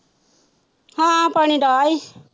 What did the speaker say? ਹਾਂ ਪਾਣੀ ਡਾਹ ਆਈ।